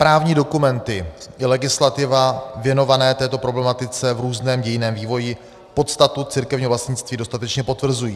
Právní dokumenty i legislativa věnované této problematice v různém dějinném vývoji podstatu církevního vlastnictví dostatečně potvrzují.